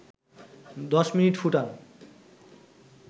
১০ minute ফুটান